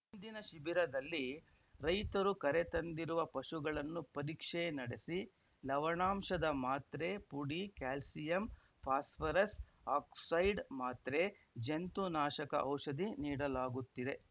ಇಂದಿನ ಶಿಬಿರದಲ್ಲಿ ರೈತರು ಕರೆತಂದಿರುವ ಪಶುಗಳನ್ನು ಪರೀಕ್ಷೆ ನಡೆಸಿ ಲವಣಾಂಶದ ಮಾತ್ರೆ ಪುಡಿ ಕ್ಯಾಲ್ಸಿಯಂ ಪಾಸ್ಫರಸ್‌ ಆಕ್ಸೈಡ್‌ ಮಾತ್ರೆ ಜಂತು ನಾಶಕ ಔಷಧಿ ನೀಡಲಾಗುತ್ತಿದೆ